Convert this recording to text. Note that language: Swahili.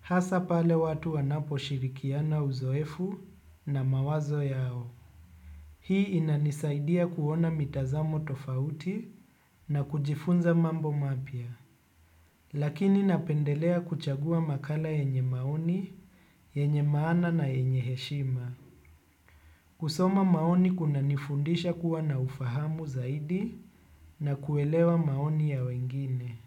hasa pale watu wanapo shirikiana uzoefu na mawazo yao. Hii inanisaidia kuona mitazamo tofauti na kujifunza mambo mapya lakini napendelea kuchagua makala yenye maoni yenye maana na heshima. Kusoma maoni kuna nifundisha kuwa na ufahamu zaidi na kuelewa maoni ya wengine.